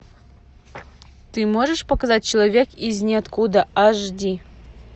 ты можешь показать человек из ниоткуда аш ди